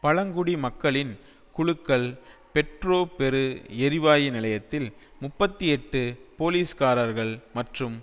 பழங்குடி மக்களின் குழுக்கள் பெட்ரோபெரு எரிவாயு நிலையத்தில் முப்பத்தி எட்டு போலீஸ்காரர்கள் மற்றும்